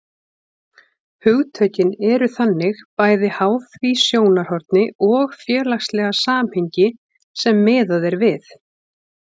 Hugtökin eru þannig bæði háð því sjónarhorni og félagslega samhengi sem miðað er við.